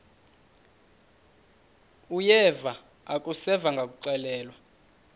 uyeva akuseva ngakuxelelwa